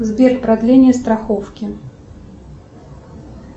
сбер продление страховки